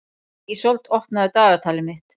Ísold, opnaðu dagatalið mitt.